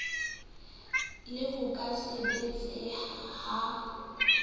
le ho ka sebetseha ha